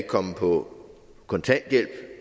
komme på kontanthjælp